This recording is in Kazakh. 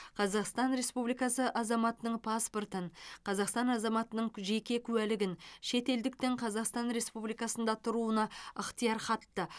қазақстан республикасы азаматының паспортын қазақстан азаматының жеке куәлігін шетелдіктің қазақстан республикасында тұруына ықтиярхатты